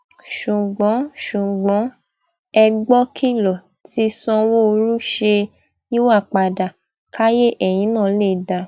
ṣùgbọn ṣùgbọn ẹ gbọkìlọ tí sanwóoru ṣe é yíwàpadà káyé ẹyin náà lè dáa